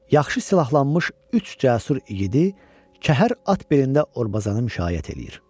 Yaxşı silahlanmış üç cəsur igidi Kəhər at belində Orbazanı müşayiət eləyir.